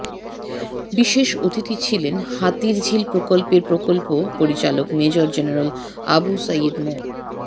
বিশেষ অতিথি ছিলেন হাতিরঝিল প্রকল্পের প্রকল্প পরিচালক মেজর জেনারেল আবু সাঈদ মো